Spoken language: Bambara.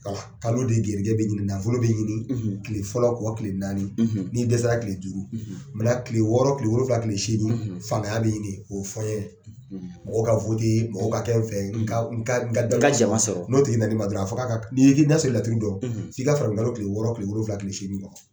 Kalo de gɛrijɛgɛ bɛ ɲini nafolo bɛ ɲini kile fɔlɔ kuwɔ kile naani n'i dɛsɛsara kile duuru kile wɔɔrɔ kile wolonwula tile seegi fangaya bɛ ɲini o ye fɔɲɔn ye mɔgɔw ka mɔgɔw ka kɛ n fɛ n ka n ka n ka jama sɔrɔ n'o tigi'i na na i ma dɔrɔn a fo k'a ka n'i a y'a sɔrɔ i bɛ laturu dɔn f'i ka farafin kalo kile wɔɔrɔ kile wolonwula kile seegi